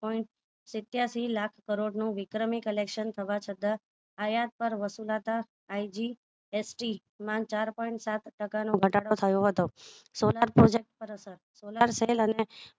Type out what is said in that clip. Point શત્યાંશી લાખ કરોડ નું વિક્રમી collection થવા છતાં આયાત પર વસુલાતા IGST માં ચાર point સાત ટકા નો ઘટાડો થયો હતો સોનાર પર અસર